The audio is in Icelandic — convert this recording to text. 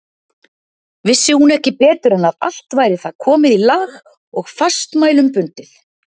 Vissi hún ekki betur en að allt væri það komið í lag og fastmælum bundið.